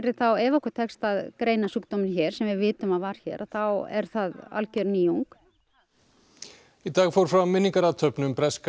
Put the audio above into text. ef okkur tekst að greina sjúkdóminn hér sem við vitum að var hér þá er það alger nýjung í dag fór fram minningarathöfn um breska